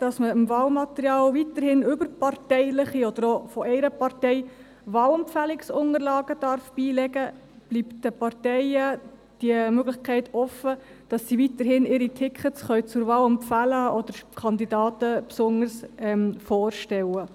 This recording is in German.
Indem dem Wahlmaterial weiterhin überparteiliche Wahlempfehlungsunterlagen, auch nur von einer Partei, beigelegt werden können, steht den Parteien weiterhin die Möglichkeit offen, ihre Tickets zur Wahl zu empfehlen oder Kandidaten besonders vorzustellen.